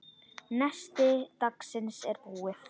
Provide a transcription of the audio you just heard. Nesti dagsins er búið.